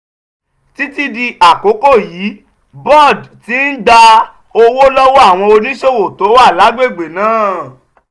títí di àkókò yìí boad ti ń gba owó lọ́wọ́ àwọn oníṣòwò tó wà lágbègbè náà.